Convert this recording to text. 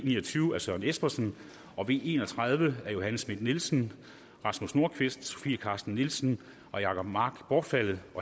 ni og tyve af søren espersen og v en og tredive af johanne schmidt nielsen rasmus nordqvist sofie carsten nielsen og jacob mark bortfaldet